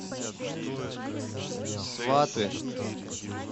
сваты